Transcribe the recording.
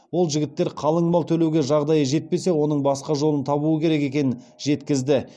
ол жігіттер қалың мал төлеуге жағдайы жетпесе оның басқа жолын табуы керек екенін жеткізді